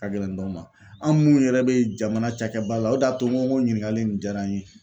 Ka gɛlɛn dɔw ma an minnu yɛrɛ bɛ jamana cakɛ ba la o de y'a to n ko ɲininkali nin diyara n ye.